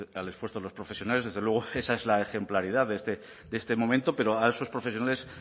al esfuerzo de los profesionales desde luego esa es la ejemplaridad de este momento pero a esos profesionales